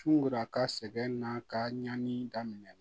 Sunkara ka sɛgɛn n'a ka ɲanni daminɛ